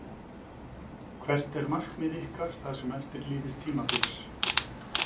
Hvert er markmið ykkar það sem eftir lifir tímabils?